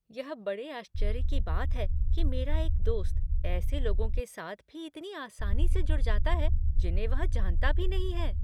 यह बड़े आश्चर्य की बात है कि मेरा एक दोस्त ऐसे लोगों के साथ भी इतनी आसानी से जुड़ जाता है जिन्हें वह जानता भी नहीं है।